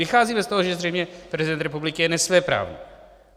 Vycházíme z toho, že zřejmě prezident republiky je nesvéprávný.